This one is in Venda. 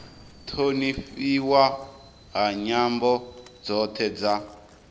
thonifhiwa ha nyambo dzothe dza